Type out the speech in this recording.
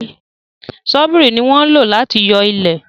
Ṣọ́bìrì ní wọn lò láti yo ilẹ